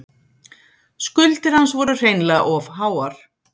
Skuldir hans voru hreinlega of háar.